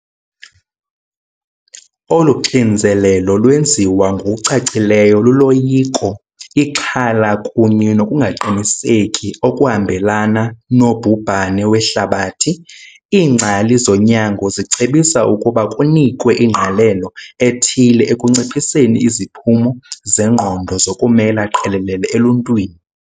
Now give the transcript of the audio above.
Olu xinzelelo lwenziwa ngokucacileyo luloyiko, ixhala kunye nokungaqiniseki okuhambelana nobhubhane wehlabathi. Iingcali zonyango zicebisa ukuba kunikwe ingqalelo ethile ekunciphiseni iziphumo zengqondo zokumela qelele eluntwini.